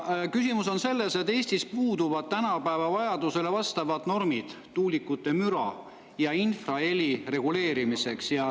Küsimus on selles, et Eestis puuduvad tänapäeva vajadustele vastavad normid tuulikute müra ja infraheli reguleerimiseks.